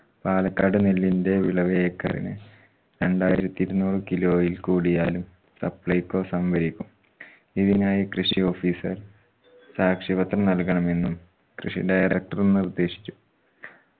പാലക്കാട് നെല്ലിന്റെ വിളവ് ഏക്കറിന് രണ്ടായിരത്തി ഇരുന്നൂറ് kilo ഇൽ കൂടിയാലും supply സംഭരിക്കും ഇതിനായി കൃഷി officer സാക്ഷ്യപത്രം നൽകണമെന്നും കൃഷി director നിർദ്ദേശിച്ചു